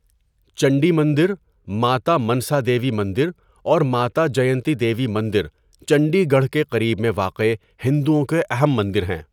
چندی مندر، ماتا منسا دیوی مندر اور ماتا جینتی دیوی مندر چندی گڑھ کے قریب میں واقع ہندوؤں کے اہم مندر ہیں۔